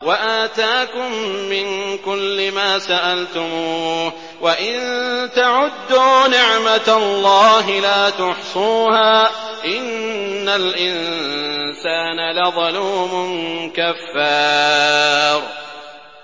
وَآتَاكُم مِّن كُلِّ مَا سَأَلْتُمُوهُ ۚ وَإِن تَعُدُّوا نِعْمَتَ اللَّهِ لَا تُحْصُوهَا ۗ إِنَّ الْإِنسَانَ لَظَلُومٌ كَفَّارٌ